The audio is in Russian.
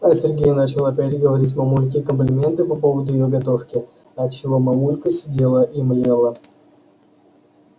а сергей начал опять говорить мамульке комплименты по поводу её готовки от чего мамулька сидела и млела